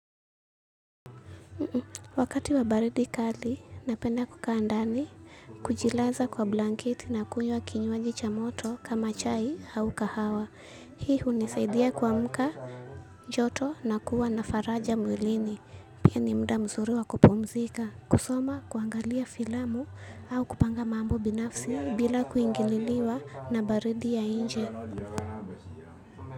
Wakati wa baridi kali, napenda kukaa ndani kujilaza kwa blanketi na kuywa kinywaji cha moto kama chai hau kahawa. Hii hunisaidia kuamka joto na kuwa na faraja mwilini. Pia ni mda mzuri wa kupumzika. Kusoma, kuangalia filamu au kupanga mambo binafsi bila kuingililiwa na baridi ya nje.